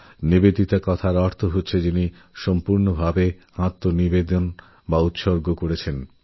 নিবেদিতার অর্থই হল যিনি পূর্ণরূপে সমর্পিতা